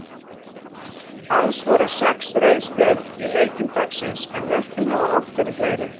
Alls voru sex rauð spjöld í leikjum dagsins en mörkin hafa oft verið fleiri.